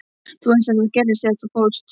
Þú veist að þetta gerðist þegar þú fórst.